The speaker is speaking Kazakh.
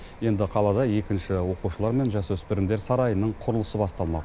енді қалада екінші оқушылар мен жасөспірімдер сарайының құрылысы басталмақ